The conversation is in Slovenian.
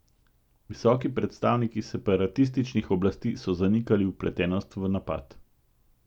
Visoki predstavniki separatističnih oblasti so zanikali vpletenost v napad.